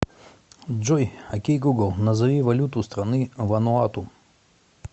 джой окей гугл назови валюту страны вануату